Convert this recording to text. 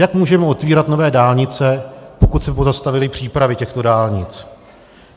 Jak můžeme otevírat nové dálnice, pokud se pozastavily přípravy těchto dálnic?